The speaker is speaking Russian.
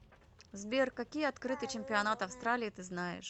сбер какие открытый чемпионат австралии ты знаешь